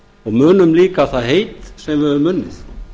og munum líka það heit sem við höfum unnið